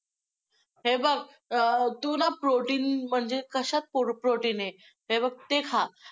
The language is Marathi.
हे बघ, तू ना protein म्हणजे कशात protein आहे ते बघ, ते खा! `